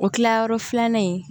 O kilayɔrɔ filanan in